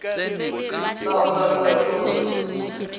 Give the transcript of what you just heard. na go na le maithobollo